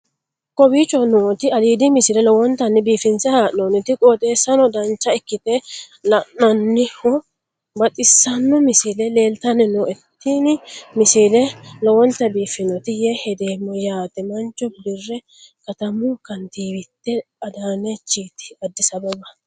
kowicho nooti aliidi misile lowonta biifinse haa'noonniti qooxeessano dancha ikkite la'annohano baxissanno misile leeltanni nooe ini misile lowonta biifffinnote yee hedeemmo yaate mancho bire katamu kantiiwite adaanechiiti addisi ababa